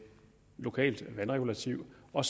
lokalt vandregulativ og